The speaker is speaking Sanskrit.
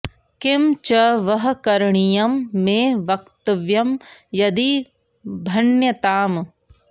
किं च वः करणीयं मे वक्तव्यं यदि भण्यताम्